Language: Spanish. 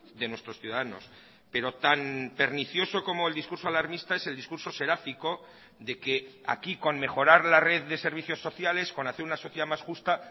de nuestros ciudadanos pero tan pernicioso como el discurso alarmista es el discurso seráfico de que aquí con mejorar la red de servicios sociales con hacer una sociedad más justa